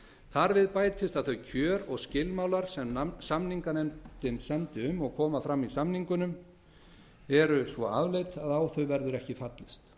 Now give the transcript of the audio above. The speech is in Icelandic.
þar við bætist að þau kjör og skilmálar sem samninganefndin samdi um og koma fram í samningunum eru svo afleit að á þau verður ekki fallist